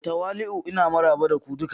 Da tawali'u ina maraba da ku duka.